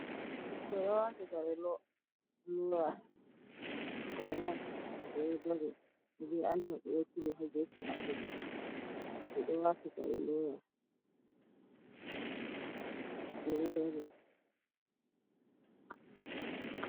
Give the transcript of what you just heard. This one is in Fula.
Ɓikkoi ɗo wati kare loyas. Ɓikkoi nai ɓe ɗo dari ɓe Anti maɓɓe ɗo turi ha gefe maɓɓe. Ɓe ɗo wati kare loyas. Ɓe ɗo dari.